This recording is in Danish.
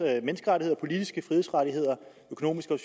menneskerettigheder politiske frihedsrettigheder og økonomiske og